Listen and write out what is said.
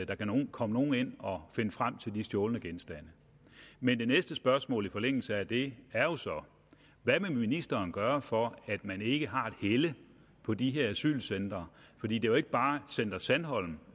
der kan komme nogen ind og finde frem til de stjålne genstande men det næste spørgsmål i forlængelse af det er jo så hvad vil ministeren gøre for at man ikke har et helle på de her asylcentre for det er jo ikke bare center sandholm